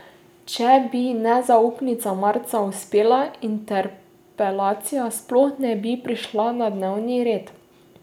Če bi nezaupnica marca uspela, interpelacija sploh ne bi prišla na dnevni red.